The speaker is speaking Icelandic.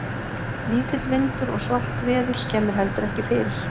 Lítill vindur og svalt veður skemmir heldur ekki fyrir.